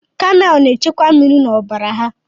Kamel na echekwa mmiri na ọbara ha.